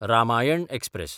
Ramayana express